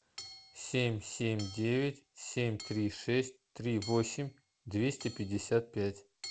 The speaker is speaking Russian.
семь семь девять семь три шесть три восемь двести пятьдесят пять